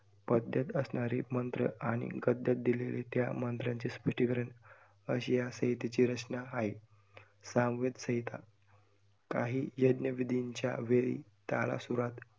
पद्यात असणारी मंत्र आणि गद्यात दिलेली त्या मंत्र्यांची अशी या संहितेची रचना आहे. सामवेद संहिता काही यज्ञ विधीच्या वेळी तालासुरात